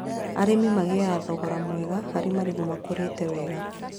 Arĩmi magĩaga thogora mwega harĩ marigũ makũrĩte wega